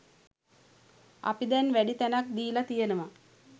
අපි දැන් වැඩි තැනක් දීලා තියෙනවා.